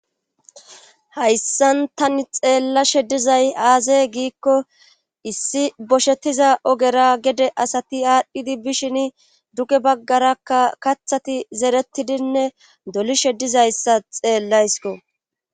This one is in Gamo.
hayssan tani xeellashe dizay aazey giikko issi boshettiza ogera gede asati aadhdhidi bishin duge baggarakka kathati zeretidinne dolishe dizayssa xeellaysko